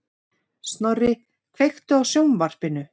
Snorri, kveiktu á sjónvarpinu.